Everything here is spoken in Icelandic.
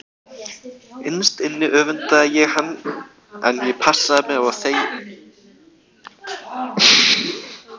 Innst inni öfundaði ég hann en ég passaði mig á að segja það engum.